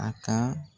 A ka